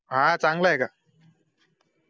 हा चांगलंय का